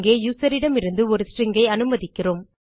இங்கே யூசர் இடமிருந்து ஒரு ஸ்ட்ரிங் ஐ அனுமதிக்கிறோம்